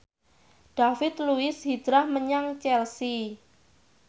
David Luiz hijrah menyang Chelsea